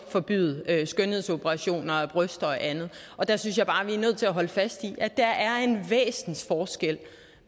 forbyde skønhedsoperationer af bryster og andet der synes jeg bare at vi er nødt til at holde fast i at der er en væsensforskel